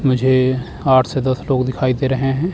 मुझे आठ से दस लोग दिखाई दे रहे हैं।